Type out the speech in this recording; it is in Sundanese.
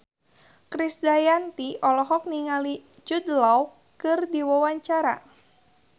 Krisdayanti olohok ningali Jude Law keur diwawancara